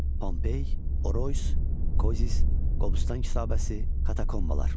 Pompey, Orosyn, Kozis, Qobustan kitabəsi, katakombalar.